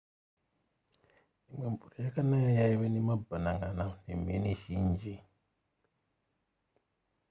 imwe mvura yekanaya yaive nemabhanan'ana nemheni zhinji